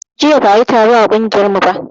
Jiya ba a yi taro a ƙungiyar mu ba